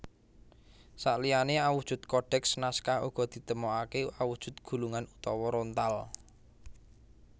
Saliyané awujud kodèks naskah uga ditemokaké awujud gulungan utawa rontal